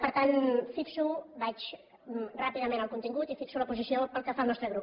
per tant vaig ràpidament al contingut i fixo la posició pel que fa al nostre grup